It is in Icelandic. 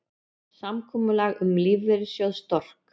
Samkomulag um lífeyrissjóð Stork